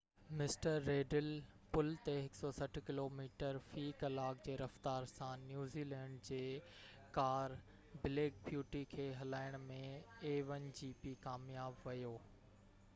mister Riddell پل تي 160 kilometre في ڪلاڪ جي رفتار سان نيوزيلينڊ جي a1gp ڪار بليڪ بيوٽي کي هلائڻ ۾ ڪامياب ويو